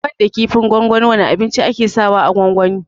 Banda kifin gwangwani wane abinci ake sa wa a gwangwani?